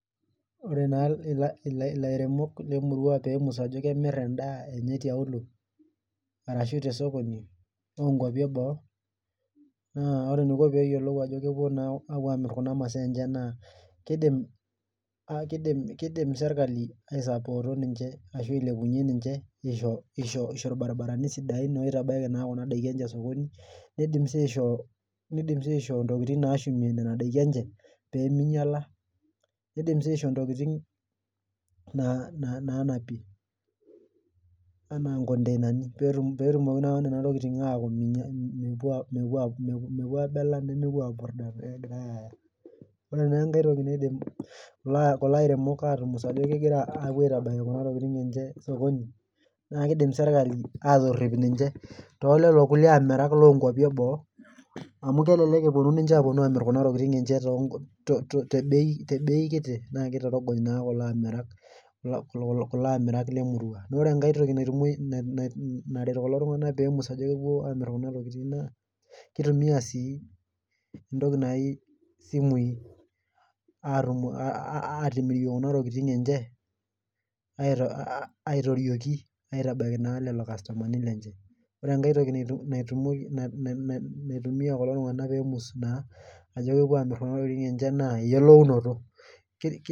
Ore naa ilairemok Lemurua, peemus ajo kemir edaa enye, Anya, tiaulo ashu tosokoni loo nkwashen eboo, aapuo Aamir Kuna kwashen enye. kidim sirkali aisapoota ninche aisho ilbarinarani sidain pee itabaiki Kuna daiki enye sokoni nidim sii aishoo ntokitin nashumie Nena daikin enye. pee mingiala. naanapie anaa nkoinani peetumoki naa lelo tunganak, mepuo aabela nemepuo .ore naa enkae toki naidim kulo airemok aatumus ajo kepuo aitabaiki Kuna tokitin enye sokoni, naa kidim sirkali aatorip ninche. too lelo kulie amirak lol nkuapi eboo. amu kelelek itorongony naa kulo amirak Lemurua. Ore enkae toki naret kulo tunganak pee emua ajo